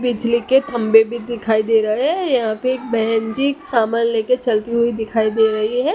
बिजली के खंभे भी दिखाई दे रहा है यहां पे एक बहन जी सामान लेके चलती हुई दिखाई दे रही है।